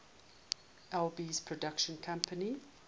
alby's production company